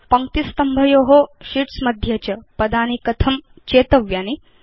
पङ्क्तिस्तम्भयो sheets मध्ये च पदानि कथं चेतव्यानि